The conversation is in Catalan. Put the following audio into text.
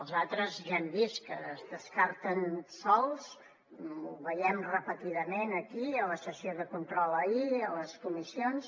els altres ja hem vist que es descarten sols ho veiem repetidament aquí a la sessió de control ahir a les comissions